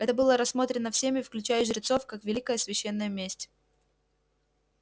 это было рассмотрено всеми включая и жрецов как великая священная месть